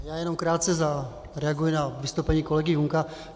Já jenom krátce zareaguji na vystoupení kolegy Junka.